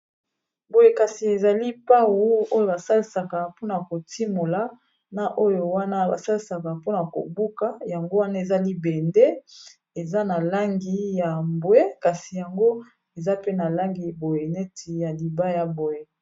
Boye kasi ezali pau oyo basalisaka mpona kotimola na oyo wana basalisaka mpona kobuka yango wana eza libende eza na langi ya mbwe kasi yango eza pe na langi boye neti ya libaya boye.